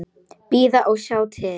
Bíða og sjá til.